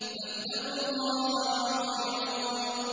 فَاتَّقُوا اللَّهَ وَأَطِيعُونِ